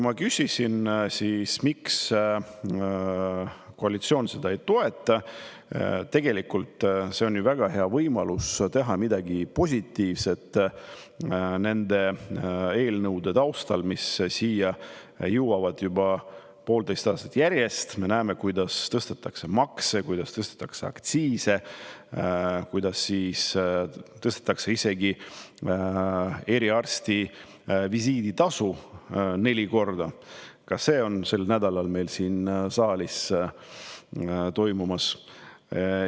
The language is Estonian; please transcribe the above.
Ma küsisin, miks koalitsioon eelnõu ei toeta, sest tegelikult on see ju väga hea võimalus teha midagi positiivset nende eelnõude taustal, mis jõuavad siia juba poolteist aastat järjest: me näeme, kuidas tõstetakse makse, aktsiise, isegi eriarsti visiiditasu neli korda, ka see on sel nädalal meil siin saalis toimumas.